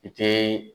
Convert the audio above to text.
I te